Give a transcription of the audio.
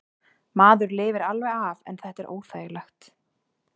Maður lifir alveg af en þetta er óþægilegt.